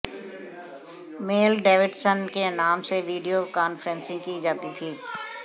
mail Davidson के नाम से वीडियो कॉनफ्रेंसिंग की जाती थी